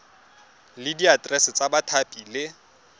le diaterese tsa bathapi le